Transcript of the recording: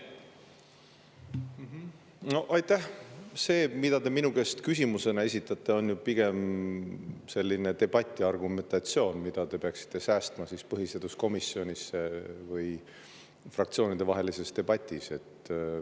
See, mida te mulle küsimusena esitate, on pigem debati argumentatsioon, mida te peaksite säästma põhiseaduskomisjoni või fraktsioonide debati jaoks.